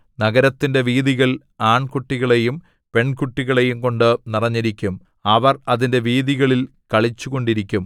നഗരത്തിന്റെ വീഥികൾ ആൺകുട്ടികളെയും പെൺകുട്ടികളെയുംകൊണ്ട് നിറഞ്ഞിരിക്കും അവർ അതിന്റെ വീഥികളിൽ കളിച്ചുകൊണ്ടിരിക്കും